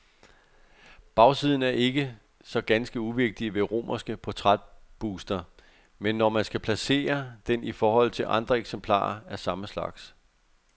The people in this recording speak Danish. Bagsiden er ikke så ganske uvigtig ved romerske portrætbuster, når man skal placere den i forhold til andre eksemplarer af samme slags.